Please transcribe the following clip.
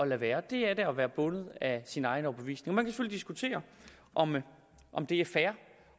lade være det er da at være bundet af sin egen overbevisning man kan selvfølgelig diskutere om om det er fair